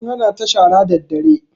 An hana ta shara daddare